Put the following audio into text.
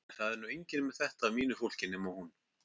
En það er nú enginn með þetta af mínu fólki nema hún.